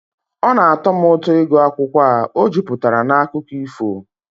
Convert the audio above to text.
Ọ na-atọ m ụtọ ịgụ akwụkwọ a, ọ juputara na akụkọ ifo